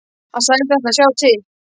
Hann sagðist ætla að sjá til.